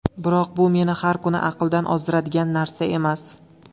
Biroq bu meni har kuni aqldan ozdiradigan narsa emas.